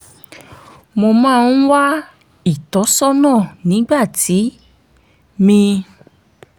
mo máa ń wá ìtọ́sọ́nà nígbà tí mi